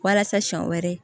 Walasa siɲɛ wɛrɛ